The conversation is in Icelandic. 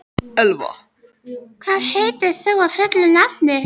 Elfa, hvað heitir þú fullu nafni?